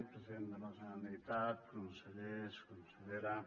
president de la generalitat consellers consellera